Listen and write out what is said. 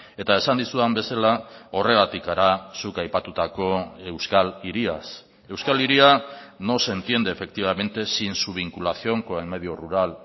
eta esan dizudan bezala horregatik gara zuk aipatutako euskal hiriaz euskal hiria no se entiende efectivamente sin su vinculación con el medio rural